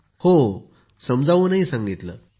पूनम नौटियालः हांजी समजावून सांगितलं